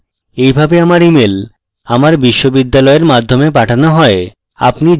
এইভাবে আমার email আমার বিশ্ববিদ্যালয়ের মাধ্যমে পাঠানো হয়